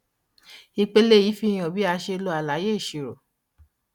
ìpele yìí fihan bí a ṣe lo àlàyé ìṣirò.